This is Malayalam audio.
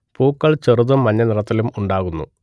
പൂക്കൾ ചെറുതും മഞ്ഞ നിറത്തിലും ഉണ്ടാകുന്നു